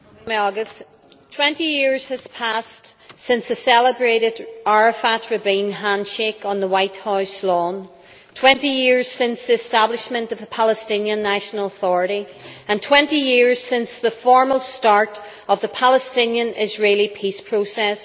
Madam President, 20 years has passed since the celebrated Arafat Rabin handshake on the White House lawn, 20 years since the establishment of the Palestinian National Authority, and 20 years since the formal start of the Palestinian Israeli peace process.